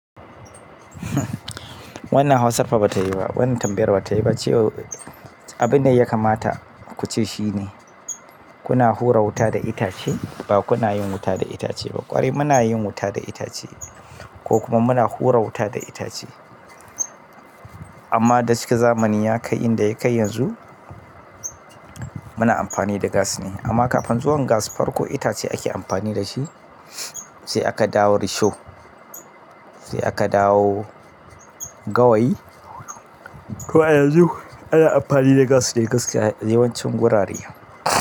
Wannan hausa fa ba ta yi ba. Wannan tambayar ba ta yi ba. Abin da ya kamata ku ce shine kuna hura wuta da itace ba kuna yin wuta da itace ba. Ƙwarai muna yin wuta da itace ko kuma muna hura wuta da itace. Amma da shike zamani ya kai inda ya kai yanzu muna amfani da gas ne. Amma kafin zuwan gas farko itace ake amfani da shi sai aka dawo risho, sai aka dawo gawayi. To a yanzu ana amfani da gas dai gaskiya yawancin wurare.